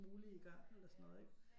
Mulige i gang eller sådan noget ikke